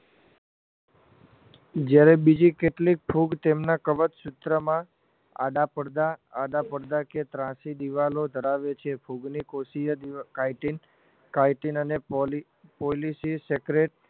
જયારે બીજી કેટલીક ફૂગ તેમના કવચ ક્ષેત્રમાં આડા પડદા આડા પડદા કે ત્રાંસી દીવાલો ધરાવે છે ફૂગની કોષીય દીવાલો catin catin અને poli policysecretary